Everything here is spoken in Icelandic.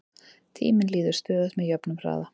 tíminn líður stöðugt með jöfnum hraða